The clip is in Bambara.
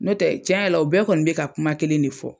N'o tɛ tiɲɛ yɛrɛ la o bɛɛ kɔni bɛ ka kuma kelen ne fɔ.